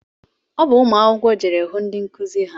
Ọ bụ ụmụ akwụkwọ jeere hụ ndị nkụzi ha